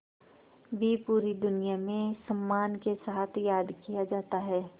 भी पूरी दुनिया में सम्मान के साथ याद किया जाता है